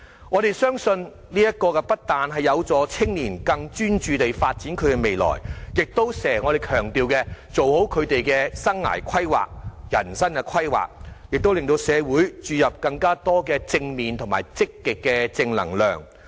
我們相信，這不但有助年青人更專注地發展未來，亦能做好我們經常強調的生涯規劃或人生規劃，亦能令社會注入更多正面和積極的正能量。